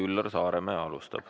Üllar Saaremäe alustab.